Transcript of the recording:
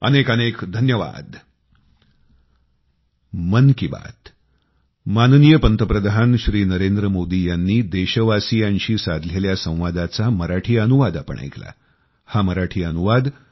अनेकानेक धन्यवाद